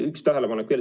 Üks tähelepanek veel.